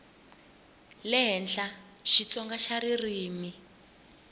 le henhla xitsonga xa ririmi